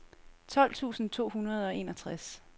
tolv tusind to hundrede og enogtres